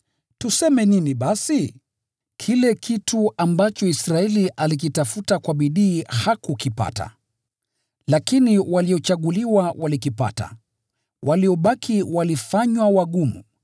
Tuseme nini basi? Kile kitu ambacho Israeli alikitafuta kwa bidii hakukipata. Lakini waliochaguliwa walikipata. Waliobaki walifanywa wagumu,